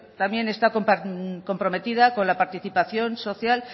también está comprometida con la participación social